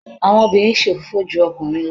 àwọn obìnrin se òfófó ju okunrin lọ.